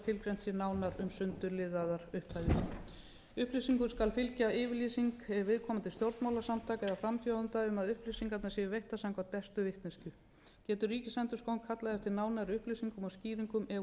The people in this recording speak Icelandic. sé nánar um sundurliðaðar upphæðir upplýsingum skal fylgja yfirlýsing viðkomandi stjórnmálasamtaka eða frambjóðenda um að upplýsingarnar séu veittar eftir bestu vitneskju getur ríkisendurskoðun kallað eftir nánari upplýsingum og skýringum ef hún telur annmarka á upplýsingagjöfinni í